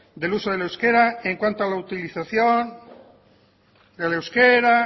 del uso del euskera en cuanto a la utilización del euskera